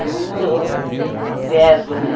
mais gostava Era muito verbo, né?